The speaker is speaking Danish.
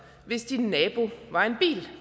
hvis din nabo var en bil